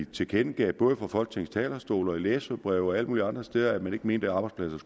tilkendegav både fra folketingets talerstol i læserbreve og alle mulige andre steder at man ikke mente at arbejdspladser